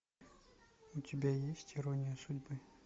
у тебя есть ирония судьбы